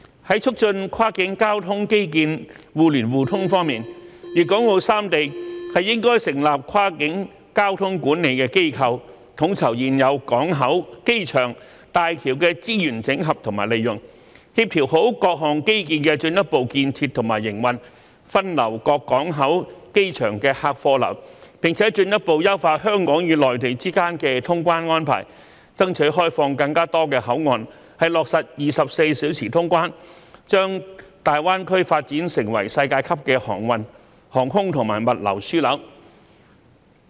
在促進跨境交通基建互聯互通方面，粵港澳三地應成立跨境交通管理機構，統籌現有港口、機場和大橋的資源整合及利用，做好協調各項基建的進一步建設和營運，分流各港口及機場的客運和貨運，並進一步優化香港與內地之間的通關安排，爭取開放更多口岸落實24小時通關，從而將大灣區發展成為世界級的航運、航空和物流樞紐。